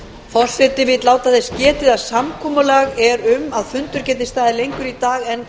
forseti vill láta þess getið að samkomulag er um að fundur geti staðið lengur í dag en